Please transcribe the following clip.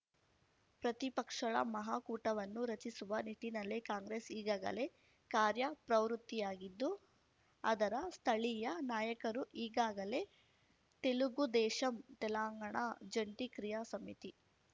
ಪ್ರತಿಪಕ್ಷಳ ಮಹಾಕೂಟವನ್ನು ರಚಿಸುವ ನಿಟ್ಟಿನಲ್ಲಿ ಕಾಂಗ್ರೆಸ್‌ ಈಗಾಗಲೇ ಕಾರ್ಯಪ್ರವೃತ್ತಿಯಾಗಿದ್ದು ಅದರ ಸ್ಥಳೀಯ ನಾಯಕರು ಈಗಾಗಲೇ ತೆಲುಗುದೇಶಂ ತೆಲಂಗಾಣ ಜಂಟಿ ಕ್ರಿಯಾ ಸಮಿತಿ